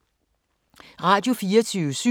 Radio24syv